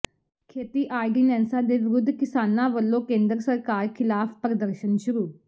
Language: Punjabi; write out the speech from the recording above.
ਖੇਤੀ ਆਰਡੀਨੈਂਸਾਂ ਦੇ ਵਿਰੋਧ ਕਿਸਾਨਾਂ ਵਲੋਂ ਕੇਂਦਰ ਸਰਕਾਰ ਖਿਲਾਫ ਪ੍ਰਦਰਸ਼ਨ ਸ਼ੁਰੂ